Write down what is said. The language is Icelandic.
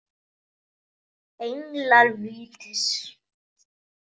Englar vítis